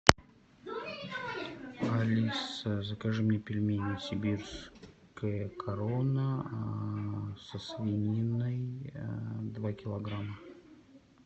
алиса закажи мне пельмени сибирская корона со свининой два килограмма